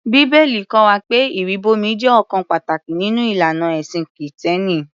Bíbélì kọ́ wa pé ìrìbọmi jẹ́ ọ̀kan pàtàkì nínú ìlànà ẹ̀sìn Kìtẹ́ẹ́nì.